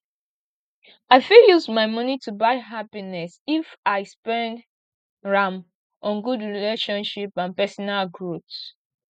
i fit use money to buy happiness if i spend am on good relationship and personal growth